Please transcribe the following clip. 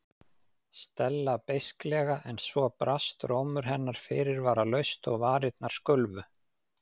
Stella beisklega en svo brast rómur hennar fyrirvaralaust og varirnar skulfu.